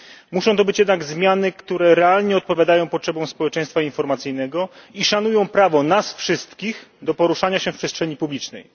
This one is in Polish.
Muszą to być jednak zmiany, które realnie odpowiadają potrzebom społeczeństwa informacyjnego i szanują prawo nas wszystkich do poruszania się w przestrzeni publicznej.